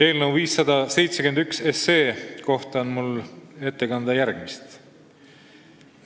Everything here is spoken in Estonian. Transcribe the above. Eelnõu 571 kohta on mul ette kanda järgmist.